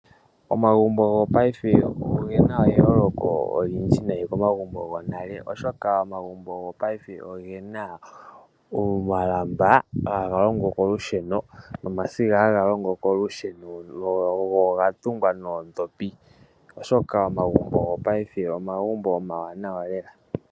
Omagumbo gopaife ogena eyooloko olindji nayi komagumbo gonale, oshoka omagumbo gopaife ogena omalamba haga longo kolusheno nomasiga haga longo kolusheno, go oga tungwa noondhopi oshoka omagumbo gopaife omagumbo omawanawa lela.